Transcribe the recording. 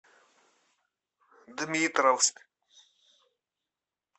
дмитровск